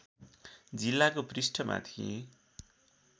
जिल्लाको पृष्ठमा थिए